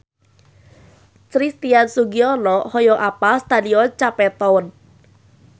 Christian Sugiono hoyong apal Stadion Cape Town